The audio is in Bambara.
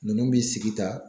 Ninnu bi sigi tan.